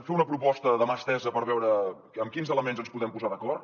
fer una proposta de mà estesa per veure en quins elements ens podem posar d’acord